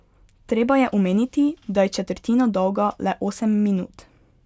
Treba je omeniti, da je četrtina dolga le osem minut.